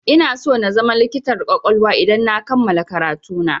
Inaso na zama likitar ƙwaƙwalwa idan na kammala karatu na.